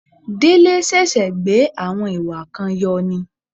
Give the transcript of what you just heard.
Délé ṣẹ̀ṣẹ̀ gbé àwọn ìwà kan yọ ni